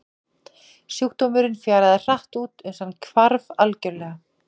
Sjúkdómurinn fjaraði hratt út uns hann hvarf algjörlega.